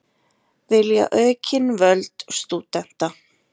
Vilja aukin völd stúdenta